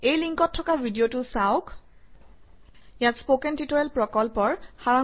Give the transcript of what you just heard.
এই লিংকত থকা ভিডিঅটো চাওক - ইয়াত স্পকেন টিউটৰিয়েল প্ৰকল্পৰ সাৰাংশ আছে